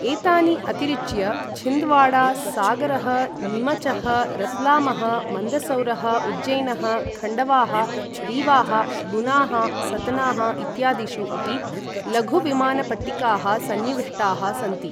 एतानि अतिरिच्य छिन्दवाड़ा, सागरः, नीमचः, रतलामः, मन्दसौरः, उज्जैनः, खण्डवाः, रीवाः, गुनाः, सतनाः इत्यादिषु अपि लघु विमानपट्टिकाः संनिविष्टाः सन्ति।